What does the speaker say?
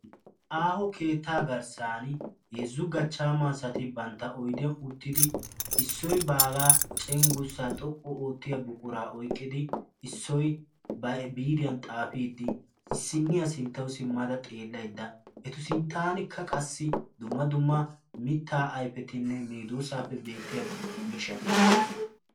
Aaho keettaa garssan heezzu gachchaama asati bantta oydiya uttidi Issoyi baagaa cenggurssaa xoqqu oottiya buquraa oyqqidi Issoyi ba biitiyan xaafiiddi issinniya sinttauw simmada xeellaydda eta sinttaanikka qassi dumma dumma mittaa ayfetinne medoossaapoe beettiya miishshati de'oosona.